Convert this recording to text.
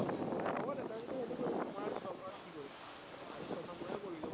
হব দে, তই যদি সেইটো কৰি আছ, মই আৰু ছমাহত কি কৰিম, আৰু ছয়মাহ মইও কৰি লম।